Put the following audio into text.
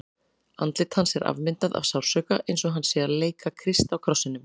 Andlit hans er afmyndað af sársauka, eins og hann sé að leika Krist á krossinum.